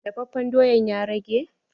Dafafen doyan ya rage?